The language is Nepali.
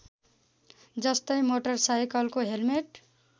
जस्तै मोटरसाइकलको हेल्मेट